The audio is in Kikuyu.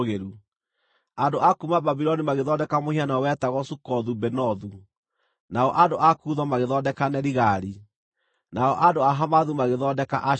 Andũ a kuuma Babuloni magĩthondeka mũhianano wetagwo Sukothu-Benothu, nao andũ a Kutho magĩthondeka Nerigali, nao andũ a Hamathu magĩthondeka Ashima;